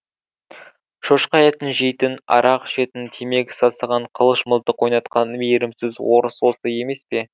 шошқа етін жейтін арақ ішетін темекі сасыған қылыш мылтық ойнатқан мейірімсіз орыс осы емес пе